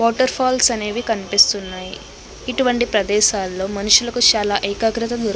Waterfalls అనేవి కనిపిస్తున్నాయి. ఇటువంటి ప్రదేశాల్లో మనుషులకు చాలా ఏకాగ్రత దొరుకుతుంది.